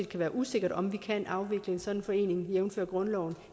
kan være usikkert om vi kan afvikle en sådan forening jævnfør grundloven